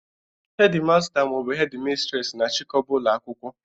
Hedi masta maọbụ Hedi mistres na-achịkọba ụlọ akwụkwọ